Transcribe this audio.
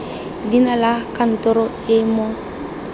leina la kantoro e mo